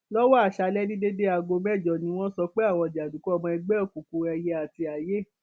lọwọ aṣálẹ ní déédé aago mẹjọ ni wọn sọ pé àwọn jàǹdùkú ọmọ ẹgbẹ òkùnkùn ẹyẹ àti aiye